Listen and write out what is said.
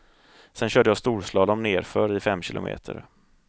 Sen körde jag storslalom nerför i fem kilometer.